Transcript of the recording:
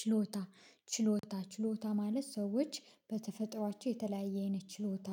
ችሎታ ችሎታ ችሎታ ማለት ሰዎች በተፈጥሯቸው የተለያየ አይነት ችሎታ